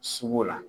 Sugu la